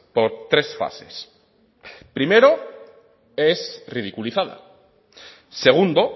por tres fases primero es ridiculizada segundo